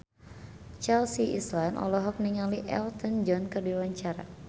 Chelsea Islan olohok ningali Elton John keur diwawancara